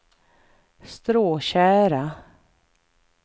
Stråtjära